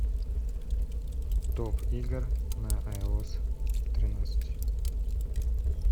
топ игр на айос тринадцать